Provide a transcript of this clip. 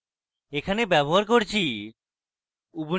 এখানে ব্যবহার করছি: